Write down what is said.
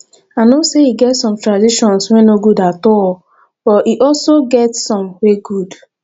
i know say e get some traditions wey no good at all but e also get some wey good